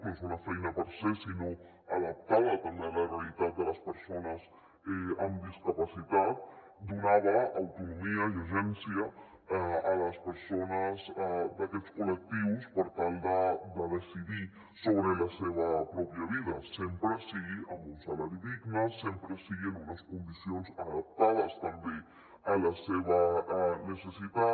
no és una feina per se sinó adaptada també a la realitat de les persones amb discapacitat donava autonomia i agència a les persones d’aquests col·lectius per tal de decidir sobre la seva pròpia vida sempre que sigui amb un salari digne sempre que sigui en unes condicions adaptades també a la seva necessitat